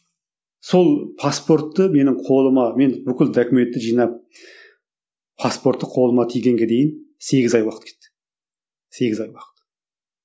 сол паспортты менің қолыма мен бүкіл документті жинап паспортты қолыма тигенге дейін сегіз ай уақыт кетті сегіз ай уақыт